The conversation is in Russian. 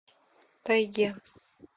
тайге